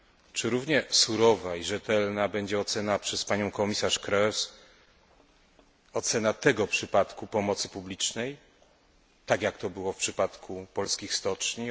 Czy równie surowa i rzetelna będzie ocena przez panią komisarz Kroes tego przypadku pomocy publicznej, tak jak to było w przypadku polskich stoczni?